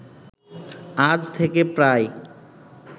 আজ থেকে প্রায়